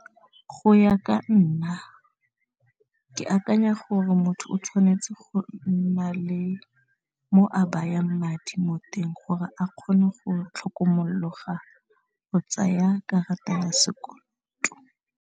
Go ya ka nna ke akanya gore motho o tshwanetse go nna le mo a bayang madi mo teng gore a kgone go tlhokomologa go tsaya karata ya sekoloto.